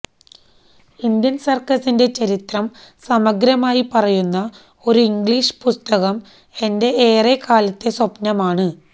Indian സർക്കസിന്റെ ചരിത്രം സമഗ്രമായി പറയുന്ന ഒരു ഇംഗ്ലീഷ് പുസ്തകം എന്റെ ഏറെ കാലത്തെ സ്വപ്നമാണ്